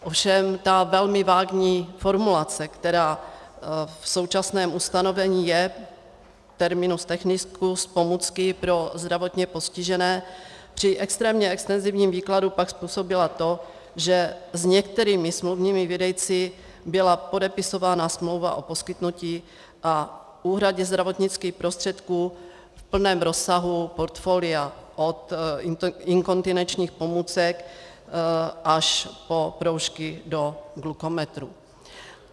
Ovšem ta velmi vágní formulace, která v současném ustanovení je, terminus technicus "pomůcky pro zdravotně postižené", při extrémně extenzivním výkladu pak způsobila to, že s některými smluvními výdejci byla podepisována smlouva o poskytnutí a úhradě zdravotnických prostředků v plném rozsahu portfolia od inkontinenčních pomůcek až po proužky do glukometrů.